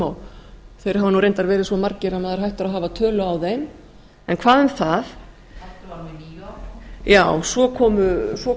þeir hafa nú reyndar verið svo margir að maður er hættur að hafa tölu á þeim en hvað um það já svo